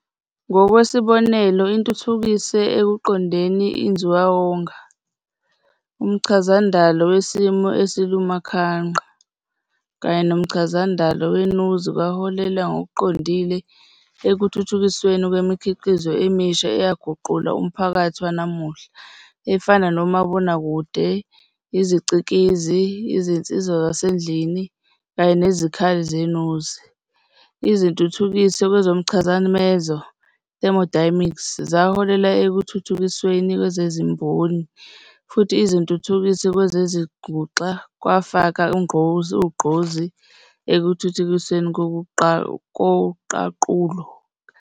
Ngokwesibonelo, Izintuthukiso ekuqondeni inzubawonga, umchazandalo wesimo esilukhumanqa, kanye nomchazandalo wenuzi kwaholela ngokuqondile ekuthuthukisweni kwemikhiqizo emisha eyaguqula umphakathi wanamuhla, efana nomabonakude, iziCikizi, izinsiza zasendlini, kanye nezikhali zenuzi, Izintuthukiso kwezomchadamezo "thermodynamics" zaholela ekuthuthukisweni kwezezimboni, futhi Izintuthukiso kwezezinguxa kwafaka ugqozi ekuthuthukisweni koqaqulo "calculus".